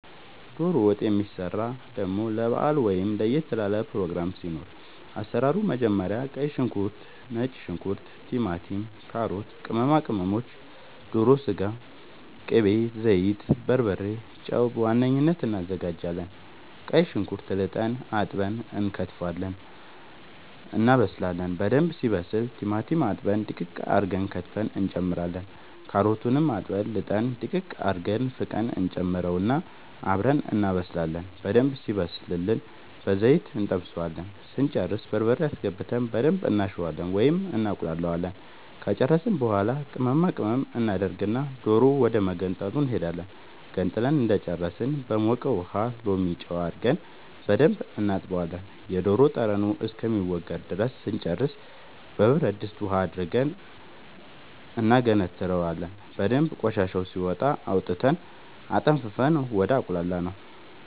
ዶሮ ወጥ የሚሰራው ደሞ ለባአል ወይም ለየት ላለ ፕሮግራም ሲኖር አሰራሩ መጀመሪያ ቀይ ሽንኩርት ነጭ ሽንኩርት ቲማቲም ካሮት ቅመማ ቅመሞች ዶሮ ስጋ ቅቤ ዘይት በርበሬ ጨው በዋነኝነት አናዘጋጃለን ቀይ ሽንኩርት ልጠን አጥበን እንከትፋለን እናበስላለን በደንብ ሲበስል ቲማቲም አጥበን ድቅቅ አርገን ከትፈን እንጨምራለን ካሮቱንም አጥበን ልጠን ድቅቅ አርገን ፍቀን እንጨምረውና አብረን እናበስላለን በደንብ ሲበስልልን በዘይት እንጠብሰዋለን ስንጨርስ በርበሬ አስገብተን በደንብ እናሸዋለን ወይም እናቁላለዋለን ከጨረስን በኃላ ቅመማ ቅመም እናደርግና ዶሮ ወደመገንጠሉ እንሄዳለን ገንጥለን እንደጨረስን በሞቀ ውሃ ሎሚ ጨው አርገን በደንብ እናጥበዋለን የዶሮ ጠረኑ እስከሚወገድ ድረስ ስንጨርስ በብረድስት ውሃ አድርገን እናገነትረዋለን በደንብ ቆሻሻው ሲወጣ አውጥተን አጠንፍፈን ወደ አቁላላነው